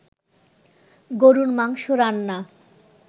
গরুর মাংস রান্না